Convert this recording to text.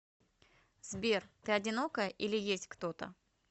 сбер ты одинокая или есть кто то